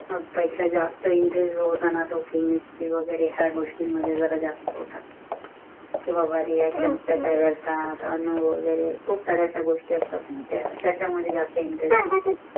त्याच्या जास्त इंटरेस्ट हा होता न तो मध्ये वेगेरे जरा जास्त होता, कि बाबा ता ता अनभव वगरे खूब सारे गोष्टी असतात ना त्याचा मध्ये ज्यास्त इंटरेस्ट होता